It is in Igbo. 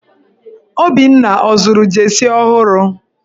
Obinna ọ zụrụ jeesi ọhụrụ?